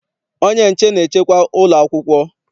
Onye nche na-echekwa ụlọ akwụkwọ